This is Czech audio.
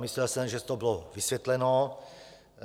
Myslel jsem, že to bylo vysvětleno.